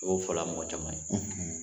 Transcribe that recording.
I y'o fɔla mɔgɔ caman ye.